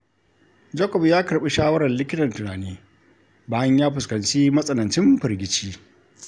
Jacob ya karɓi shawarar likitan tunani bayan ya fuskanci matsanancin firgici.